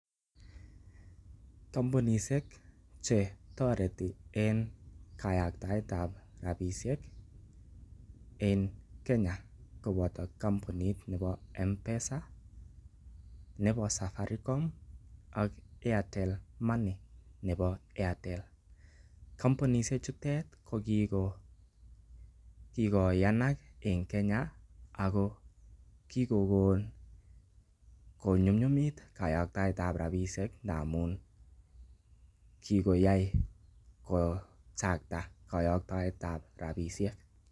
Kompunisiek che toreti en kayaktaet ab rabishek en Kenya koboto kompunit nebo M-Pesa nebo Safaricom ak Airtel Money nebo Airtel. Kompunishek chutet ko kigoyanak en Kenya ago kigon konyunyumit kayaktaet ab rabishek ndamun kigoyai kochakta koyoktoet ab rabishek